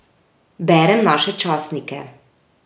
Berem naše časnike.